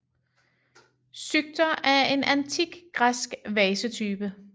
Psykter er en antik græsk vasetype